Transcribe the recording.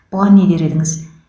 бұған не дер едіңіз